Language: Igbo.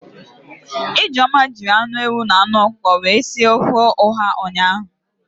Ijeoma jiri anụ ewu na anụ ọkụkọ wee si ofe ọha ụnyaahụ